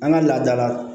An ka laada la